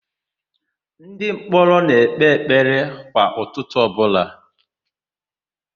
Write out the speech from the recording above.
Ndịmkpọrọ na-ekpe ekpere kwa ụtụtụ ọbụla.